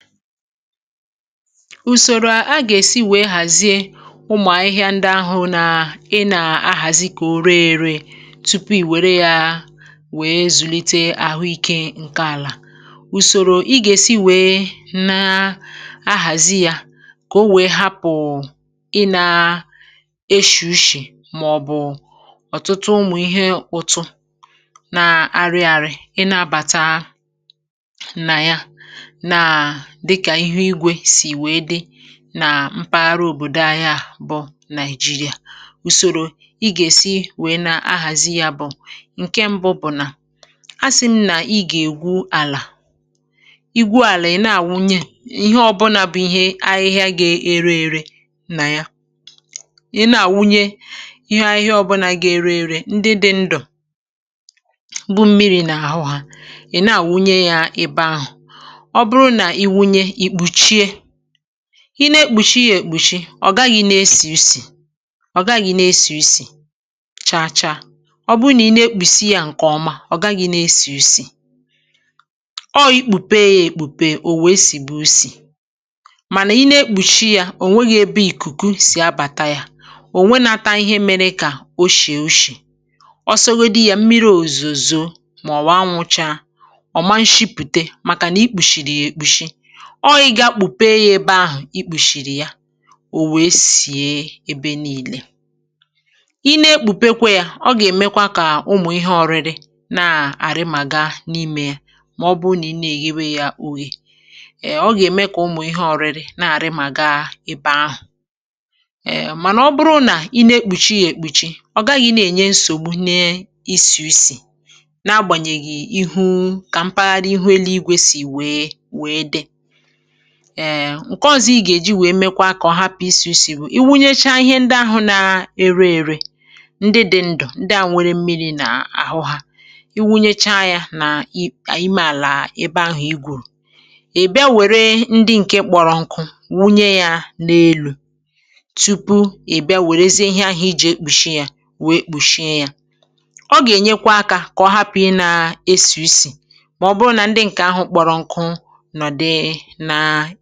Ùsòrò a gà-èsi wèe, um, hàzìe ụmụ̀ ahịhịa ndị ahụ̀ nà ị nà-ahàzì, kà o ree èrè, tupu ì wère yà, wèe zùlite àhụ ike ǹke àlà. Ùsòrò ị gà-èsi wèe nà ahàzì yà kà o wèe, um, hapụ̀ ị nà-èshì ushì, màọ̀bụ̀ ọ̀tụtụ ụmụ̀ ihe ụ̀tụ nà-arị ȧrị̇, ị nà-abàta nà yà dịkà ihe igwe sì wèe dị nà mpaghara òbòdo ahịa bụ̀ Nàị̀jìrìà. Ùsòrò ị gà-èsi wèe nà ahàzì yà bụ̀ ǹkè mbụ. Bụ̀ nà, um, a sị̀ m nà, ị gà-ègwu àlà. Ì gwù̇ àlà, ị̀ nà-àwụnye ihe ọbụnȧ bụ̀ ihe ahịhịa gà-èrè èrè nà yà. Ì nà-àwụnye ihe ahịhịa ọbụnȧ gà-èrè èrè, ndị dị̇ ndụ̀, bụ̀ mmi̇ri̇ nà àhụ hà, ị̀ nà-àwụnye yà ebe ahụ̀, ì nè-ekpùchi yà, èkpùchi, ọ̀ gaghị̇ i nè-èsì isì. Ọ gaghị̇ i nè-èsì isì chàchà, ọ bụ nà ì nè-ekpùchi yà ǹkè ọma, ọ gaghị̇ i nè-èsì isì. Ọ bụrụ nà ì kpùpee yà, um, èkpùpee, ò nwe èsì gbù usì. Mànà ì nè-ekpùchi yà, ò nwèrèghì̇ ebe ìkùkù sì abàta yà, ò nwènàtà ihe mèrè kà o shì, è o shì, ọ sògodì yà. Mmi̇ri̇ òzùzùọ, màọ̀wụ̀, ànwùchá, ọ̀ màà shìpùte, màkà nà ì kpùshìrì yà èkpùshi. Ọọ̇, ì gà kpùpe yà ebe ahụ̀ ì kpùchìrì yà, ò wèe sìe ebe niile. Ì nèe kpùpejė yà, ọ gà-èmekwa kà ụmụ̀ ihe ọ̇rịrị nà àrị̇ mà gà n’ìmē yà. Mà ọ bụụ nà ì nèe yà ebe yà àgụ̀wè, ọ gà-ème kà ụmụ̀ ihe ọ̇rịrị nà àrị̇ mà gà ebe ahụ̀. Mànà ọ bụrụ nà ì nèe kpùchi yà, èkpùchi, um, ọ gaghị̇ na-ènye nsògbu n’isi isì, n’agbànyèghì ihu kà mpaghara ihu èlú igwe sì wèe dị. Ǹkè ọ̇zọ̀ ị gà-èji wèe, mèkwà kà ọ hapụ̀ isi̇isi̇, wụ̀ iwunyecha ihe ndị ahụ̇ na-èrè èrè, ndị dị̇ ndụ̀, ndị à, wèrè mmi̇ri̇ nà àhụ hà. Iwunyecha yà nà ì ànyị mèrè àlà ebe ahụ̀ ì gwùrù. Ì bìà, wèrè ndị ǹkè kpọrọ ǹkụ wunye yà n’èlú, tupu ì bìà wèrèzie ihe ahụ̀ ijè ekpùshi yà, wèe kpùshi yà. Ọ gà-ènyekwa akȧ, kà ọ hapụ̀ yà nà-èsì isì. Mà ọ bụrụ nà ndị ǹkè ahụ̀ kpọrọ ǹkụ, hà...